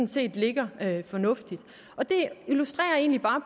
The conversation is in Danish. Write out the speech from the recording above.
set ligger fornuftigt og det illustrerer egentlig bare